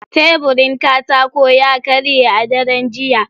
Teburin katako ya karye a daren jiya.